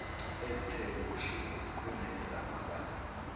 ezithe ukushuba kunezamabanga